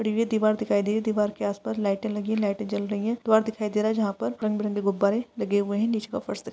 दीवार दिखाई दे दीवार के आसपास लाइटें लगी हैं। लाइटें जल रही हैं। दीवार दिखाई दे रहा है जहाँ पर रंग बिरंगे गुब्बारें लगे हुए हैं। नीच का फर्श द --